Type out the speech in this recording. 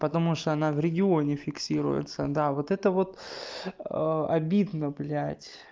потому что она в регионе фиксируется да вот это вот обидно блять